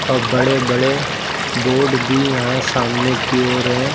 और बड़े बड़े बोर्ड भी यहां सामने की ओर हैं।